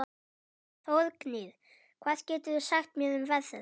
Þórgnýr, hvað geturðu sagt mér um veðrið?